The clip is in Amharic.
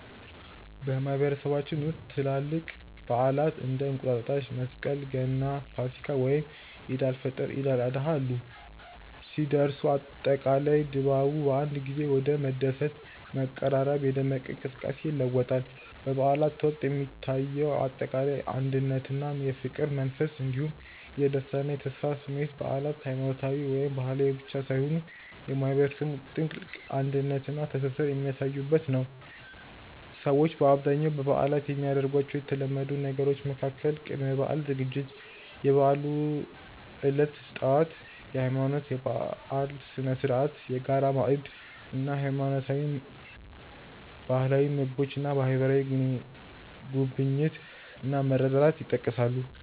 በማህበረሰባችን ውስጥ ትላልቅ በዓላት (እንደ እንቁጣጣሽ፣ መስቀል፣ ገና፣ ፋሲካ፣ ወይም ዒድ አል-ፈጥር እና ዒድ አል-አድሃ ያሉ) ሲደርሱ፣ አጠቃላይ ድባቡ በአንድ ጊዜ ወደ መደሰት፣ መቀራረብና የደመቀ እንቅስቃሴ ይለወጣል። በበዓላት ወቅት የሚታየው አጠቃላይ የአንድነትና የፍቅር መንፈስ እንዲሁም የደስታና የተስፋ ስሜት በዓላት ሃይማኖታዊ ወይም ባህላዊ ብቻ ሳይሆኑ የማህበረሰቡን ጥልቅ አንድነትና ትስስር የሚያሳዩበት ነው። ሰዎች በአብዛኛው በበዓላት የሚያደርጓቸው የተለመዱ ነገሮች መካከል ቅድመ-በዓል ዝግጅት፣ የበዓሉ ዕለት ጠዋት (የሃይማኖትና የባህል ስነ-ስርዓት)፣የጋራ ማዕድ እና ባህላዊ ምግቦች እና ማህበራዊ ጉብኝት እና መረዳዳት ይጠቀሳሉ።